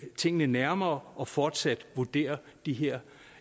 tingene nærmere og fortsat vurderer de her